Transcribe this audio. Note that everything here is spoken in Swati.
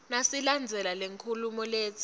nasilandzela lenkhulumo letsi